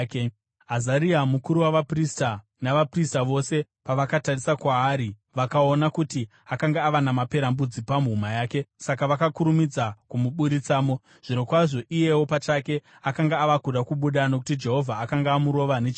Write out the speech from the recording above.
Azaria mukuru wavaprista, navaprista vose pavakatarisa kwaari, vakaona kuti akanga ava namaperembudzi pahuma yake, saka vakakurumidza kumuburitsamo. Zvirokwazvo iyewo pachake akanga ava kuda kubuda nokuti Jehovha akanga amurova nechirwere.